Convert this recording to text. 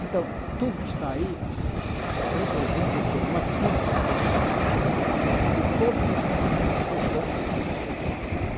Então, tudo que está aí representa o que uma síntese de todas as medidas importantes que têm que ser tomadas.